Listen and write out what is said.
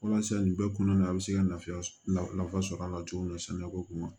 Walasa nin bɛɛ kɔnɔna na a be se ka lafiya nafa sɔrɔ a la cogo min sɛnɛko kun ma